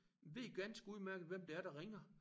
Ved ganske udmærket hvem det er der ringer